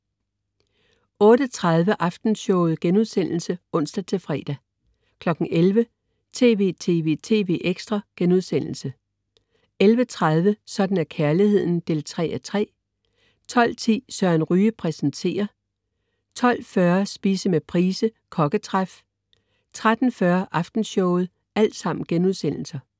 08.30 Aftenshowet* (ons-fre) 11.00 TV!TV!TV! ekstra* 11.30 Sådan er kærligheden 3:3* 12.10 Søren Ryge præsenterer* 12.40 Spise med Price, Kokketræf* 13.40 Aftenshowet*